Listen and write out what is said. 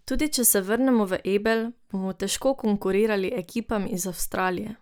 Tudi če se vrnemo v Ebel, bomo težko konkurirali ekipam iz Avstrije.